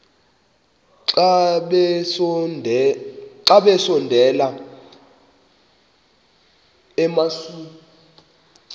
xa besondela emasuie